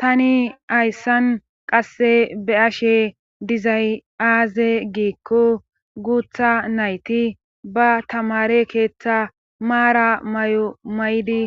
tani ayssan qasse be ashe dizay aaze giikko guutha nayti ba tamare keeththa maara may7o may7di